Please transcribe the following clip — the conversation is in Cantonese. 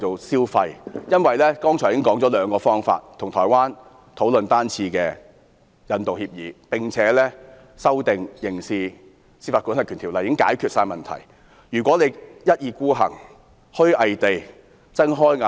剛才議員已指出兩種方法，即與台灣討論單次引渡協議，並修訂《刑事司法管轄區條例》，已足可解決台灣慘案移交犯人的問題。